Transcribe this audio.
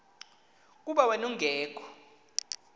kuba wen ungekho